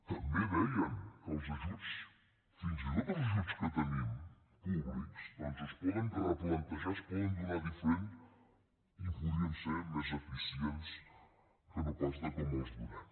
també deien que els ajuts fins i tot els ajuts que tenim públics doncs es poden replantejar es poden donar diferentment i podrien ser més eficients que no pas com els donem